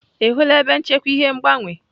Ị hụla ebe nchekwa ihe ngbanwe?